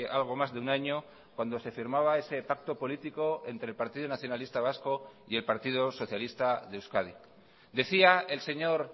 algo más de un año cuando se firmaba ese pacto político entre el partido nacionalista vasco y el partido socialista de euskadi decía el señor